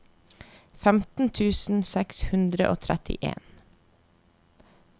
femten tusen seks hundre og trettien